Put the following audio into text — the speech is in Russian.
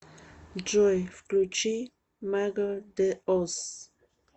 джой включи мэго дэ оз